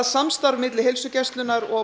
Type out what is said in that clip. samstarf milli heilsugæslunnar og